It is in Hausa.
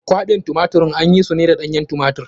Kwaɓin tumatirin an yi su ne da ɗanyen tumatir.